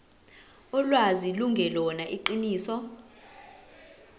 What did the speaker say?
ulwazi lungelona iqiniso